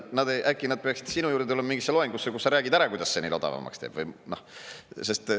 Äkki nad peaksid sinu juurde tulema mingisse loengusse, kus sa räägid ära, kuidas see neil odavamaks teeb.